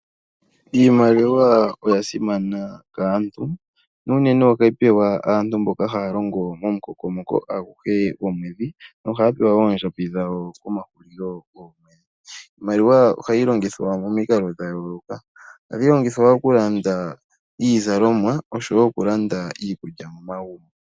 Iimaliwa oya simana kaantu, na unene ohayi pewa aantu mboka ya longo momukokomoko aguhe gomwedhi nohaya pewa oondjambi dhawo komahulilo goomwedhi. Iimaliwa ohayi longithwa momikalo dha yooloka, ohayi longithwa oku landa iizalomwa oshowo oku landa iikulya momagumbo.